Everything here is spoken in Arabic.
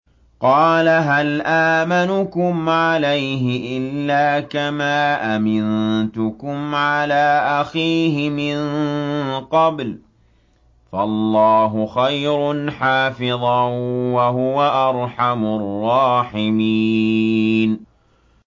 قَالَ هَلْ آمَنُكُمْ عَلَيْهِ إِلَّا كَمَا أَمِنتُكُمْ عَلَىٰ أَخِيهِ مِن قَبْلُ ۖ فَاللَّهُ خَيْرٌ حَافِظًا ۖ وَهُوَ أَرْحَمُ الرَّاحِمِينَ